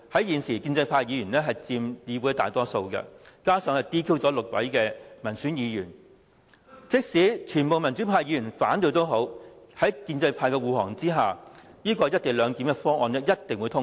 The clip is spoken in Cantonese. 現時建制派議員佔議會大多數，加上 "DQ" 了6位民選議員，即使全部民主派議員反對，在建制派的護航下，"一地兩檢"議案勢必獲得通過。